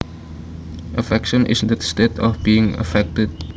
Affection is the state of being affected